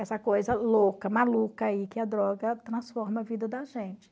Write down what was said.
Essa coisa louca, maluca aí que a droga transforma a vida da gente.